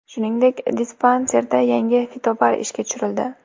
Shuningdek, dispanserda yangi fitobar ishga tushirildi.